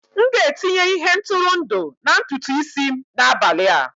M ga-etinye ihe ntụrụndụ na ntutu isi m n'abalị a